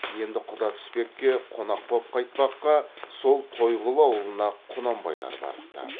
енді құда түспекке қонақ боп қайтпаққа сол тойғұлы аулына құнанбайлар барыпты